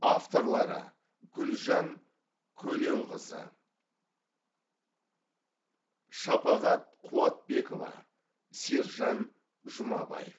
авторлары гүлжан көленқызы шапағат куатбекова сержан жумабаев